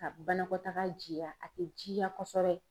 Ka banakɔtaga jiya a tɛ jiya kosɛbɛ.